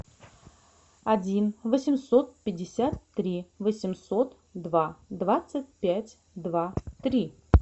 один восемьсот пятьдесят три восемьсот два двадцать пять два три